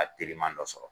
A teriman dɔ sɔrɔ